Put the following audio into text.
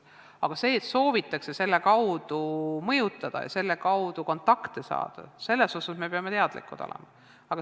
Aga sellest, et nende ürituste kaudu soovitakse mõjutada ja kontakte saada, me peame teadlikud olema.